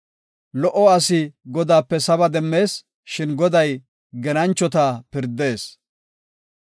Lo77o asi Godaape saba demmees; shin Goday genanchota pirdees.